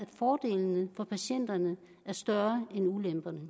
fordelene for patienterne er større end ulemperne